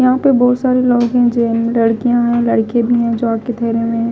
यहां पे बोहोत सारे लोग है जेयनमे लड़कियां है लड़के भी है जो आके ठहरे हुए है।